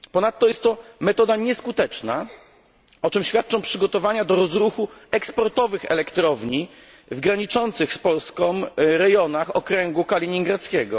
Ponadto jest to metoda nieskuteczna, o czym świadczą przygotowania do rozruchu eksportowych elektrowni w graniczących z Polską rejonach okręgu kaliningradzkiego.